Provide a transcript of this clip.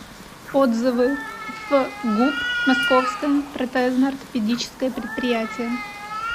отзывы фгуп московское протезно ортопедическое предприятие